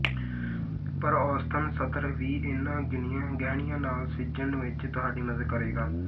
ਪਰ ਔਸਤਨ ਸਤਰ ਵੀ ਇਹਨਾਂ ਗਹਿਣੀਆਂ ਨਾਲ ਸਿੱਝਣ ਵਿੱਚ ਤੁਹਾਡੀ ਮਦਦ ਕਰੇਗਾ